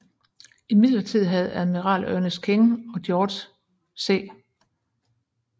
Imidlertid havde admiral Ernest King og general George C